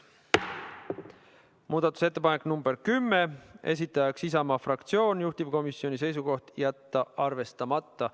Muudatusettepanek number 10, esitaja Isamaa fraktsioon, juhtivkomisjoni seisukoht: jätta arvestamata.